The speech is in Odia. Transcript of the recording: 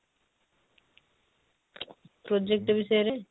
project ବିଷୟ ରେ?